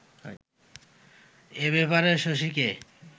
এ ব্যাপারে শশীকে